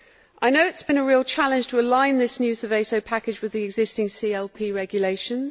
I know it has been a real challenge to align this new Seveso package with the existing CLP regulations.